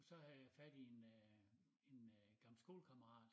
Så havde jeg fat i en øh i en øh gammel skolekammerat